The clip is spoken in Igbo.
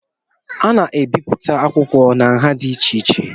A na-ebipụta akwụkwọ na nha dị iche iche